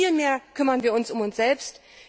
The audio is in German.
vielmehr kümmern wir uns um uns selbst.